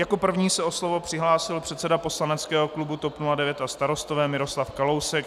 Jako první se o slovo přihlásil předseda poslaneckého klubu TOP 09 a Starostové Miroslav Kalousek.